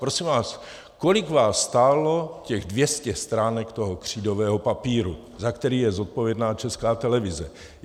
Prosím vás: Kolik vás stálo těch 200 stránek toho křídového papíru, za který je zodpovědná Česká televize?